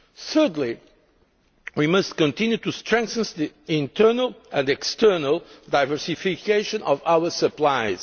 Thirdly, we must continue to strengthen the internal and external diversification of our supplies.